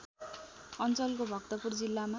अञ्चलको भक्तपुर जिल्लामा